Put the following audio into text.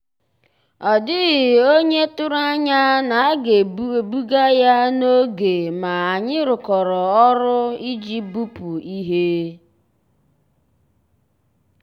ọ́ dị́ghị́ ónyé tụ̀rụ̀ ànyá ná á gà-èbùgà yá n'ògé mà ànyị́ rụ́kọ̀rọ́ ọ́rụ́ ìjì bùpú íhé.